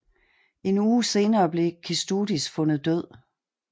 En uge senere blev Kęstutis fundet død